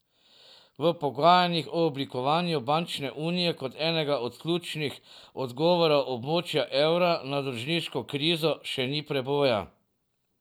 V pogajanjih o oblikovanju bančne unije kot enega od ključnih odgovorov območja evra na dolžniško krizo še ni preboja.